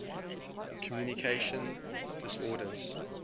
communication disorders